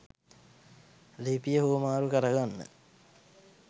ලිපිය හුවමාරු කරගන්න